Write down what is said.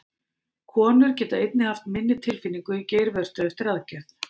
Konur geta einnig haft minni tilfinningu í geirvörtu eftir aðgerð.